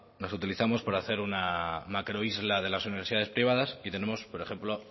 las utilizamos para hacer una macroisla de las universidades privadas y tenemos por ejemplo